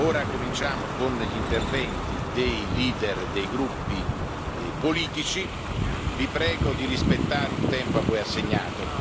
Ora cominciamo con gli interventi dei leader dei gruppi politici vi prego di rispettare il tempo a voi assegnato.